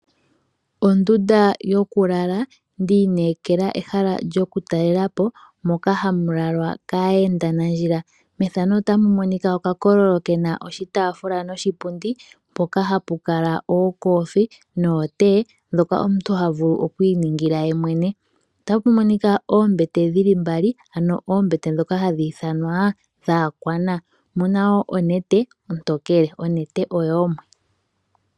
Ondunda yokulala ndi inekela ehala lyokutalela po moka hamu lalwa kaayendanandjila. Opu na okakololo pu na oshitaafula noshipundi mpoka hapu kala ookofi nootee, ndhoka omuntu ha vulu oku iningila yemwene. Opu na oombete dhi li mbali, ano oombete ndhoka hadhi ithanwa dhaakwana. Omu na wo onete ontokele. Onete oyoomwe.